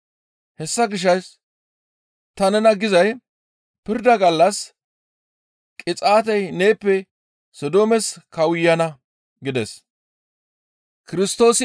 Hessa gishshas ta nena gizay pirda gallas qixaatey neeppe Sodoomes kawuyana» gides.